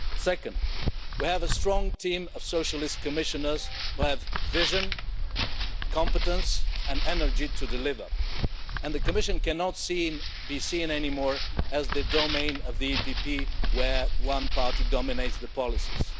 Second, we have a strong team of Socialist Commissioners who have the vision, competence and energy to deliver, and the Commission cannot be seen anymore as the domain of the EPP, where one party dominates the policies.